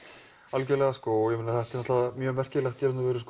algjörlega þetta er mjög merkilegt